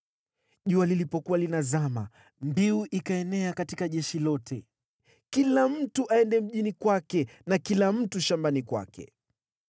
Jua lilipokuwa linazama, mbiu ikaenea katika jeshi lote: “Kila mtu aende mjini kwake, na kila mtu shambani kwake!”